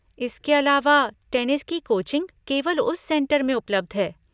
इसके अलावा, टेनिस की कोचिंग केवल उस सेंटर में उपलब्ध है।